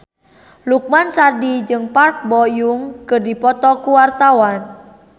Lukman Sardi jeung Park Bo Yung keur dipoto ku wartawan